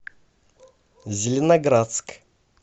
зеленоградск